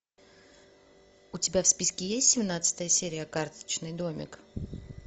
у тебя в списке есть семнадцатая серия карточный домик